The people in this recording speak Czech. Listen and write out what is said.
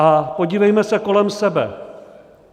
A podívejme se kolem sebe.